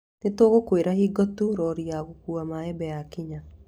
Nĩ tũgũkwĩra hingo tu rori ya gũkuua mbembe yakinya